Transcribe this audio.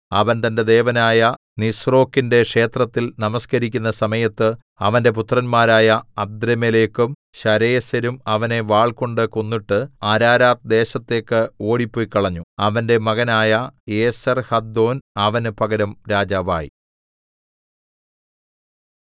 അവൻ തന്റെ ദേവനായ നിസ്രോക്കിന്റെ ക്ഷേത്രത്തിൽ നമസ്കരിക്കുന്ന സമയത്ത് അവന്റെ പുത്രന്മാരായ അദ്രമേലെക്കും ശരേസെരും അവനെ വാൾകൊണ്ട് കൊന്നിട്ട് അരാരാത്ത് ദേശത്തേക്ക് ഓടിപ്പൊയ്ക്കളഞ്ഞു അവന്റെ മകനായ ഏസെർഹദ്ദോൻ അവന് പകരം രാജാവായി